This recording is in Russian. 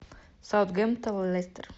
саутгемптон лестер